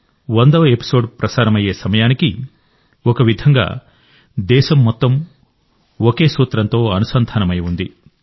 100వ episode ప్రసారమయ్యే సమయానికిఒక విధంగా దేశం మొత్తం ఒక సూత్రంతో అనుసంధానమై ఉంది